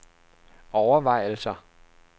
overvejelser